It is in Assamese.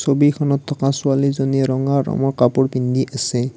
ছবিখনত থকা ছোৱালীজনীয়ে ৰঙা ৰঙৰ কাপোৰ পিন্ধি আছে।